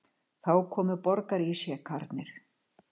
Þá komu borgarísjakarnir.